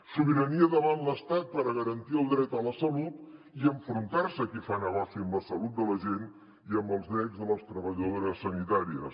sobirania davant l’estat per garantir el dret a la salut i enfrontar se a qui fa negoci amb la salut de la gent i amb els drets de les treballadores sanitàries